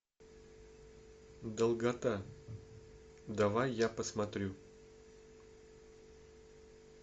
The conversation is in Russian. долгота давай я посмотрю